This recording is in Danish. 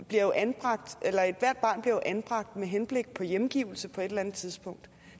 bliver jo anbragt med henblik på hjemgivelse på et eller andet tidspunkt